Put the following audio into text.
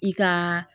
I ka